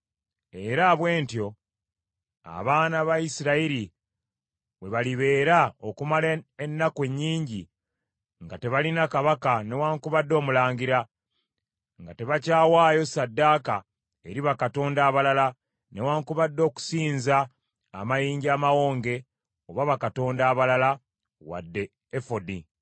Era bwe batyo abaana ba Isirayiri bwe balibeera okumala ennaku ennyingi nga tebalina kabaka newaakubadde omulangira, nga tebakyawaayo ssaddaaka eri bakatonda abalala, newaakubadde okusinza amayinja amawonge oba bakatonda abalala, wadde efodi.